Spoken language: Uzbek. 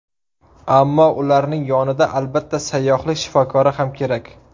Ammo ularning yonida albatta, sayyohlik shifokori ham kerak.